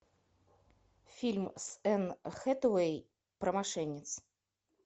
фильм с энн хэтэуэй про мошенниц